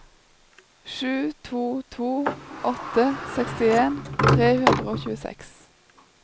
sju to to åtte sekstien tre hundre og tjueseks